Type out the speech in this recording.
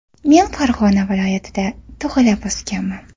Men Farg‘ona viloyatida tug‘ilib o‘sganman.